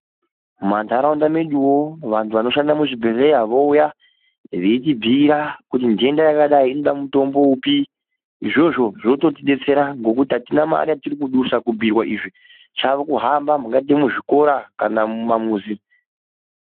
Mumantaraunda mweduwo vantu vanoshanda muzvibhedhlera vouya veitibhuira kuti ntenda yakadai inoda mutombo upi, izvozvo zvototidetsera ngokuti hatina mare yatirikudusa kubhuirwa izvi chavo kuhamba mungaite muzvikora kana mumamuzi.